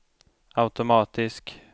automatisk